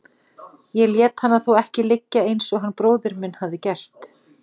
Ég lét hana þó ekki liggja eins og hann bróðir minn hafði gert.